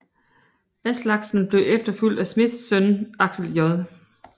Aslaksen blev efterfulgt af Smiths søn Aksel J